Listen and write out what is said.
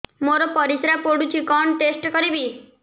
ମୋର ପରିସ୍ରା ପୋଡୁଛି କଣ ଟେଷ୍ଟ କରିବି